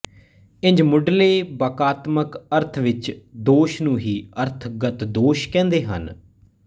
ਇੰਝ ਮੁਢਲੇ ਵਾਕਾਤਮਕ ਅਰਥ ਵਿਚ ਦੋਸ਼ ਨੂੰ ਹੀ ਅਰਥ ਗਤ ਦੋਸ਼ ਕਹਿੰਦੇ ਹਨ